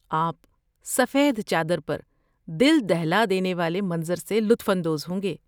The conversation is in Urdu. آپ سفید چادر پر دل دہلا دینے والے منظر سے لطف اندوز ہوں گے۔